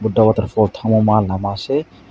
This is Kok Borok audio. buddha waterfal tangmo ma lama se.